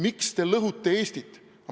Miks te lõhute Eestit?